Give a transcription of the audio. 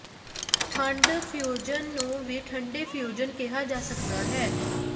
ਠੰਢ ਫਿਊਜ਼ਨ ਨੂੰ ਵੀ ਠੰਡੇ ਫਿਊਜ਼ਨ ਕਿਹਾ ਜਾ ਸਕਦਾ ਹੈ